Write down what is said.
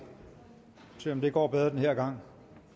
og se om det går bedre den her gang